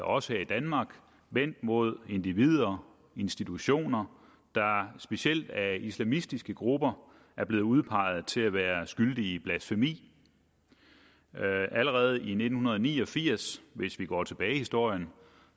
også her i danmark vendt mod individer og institutioner der specielt af islamistiske grupper er blevet udpeget til at være skyldige i blasfemi allerede i nitten ni og firs hvis vi går tilbage i historien